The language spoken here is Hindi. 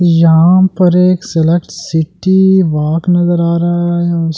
यहां पर एक सेलेक्ट सिटी वाक नजर आ रहा है और--